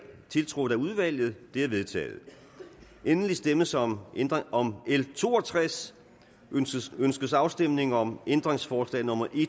tiltrådt af udvalget de er vedtaget endelig stemmes om om l to og tres ønskes ønskes afstemning om ændringsforslag nummer